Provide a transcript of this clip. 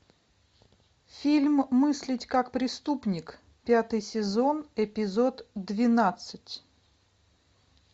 фильм мыслить как преступник пятый сезон эпизод двенадцать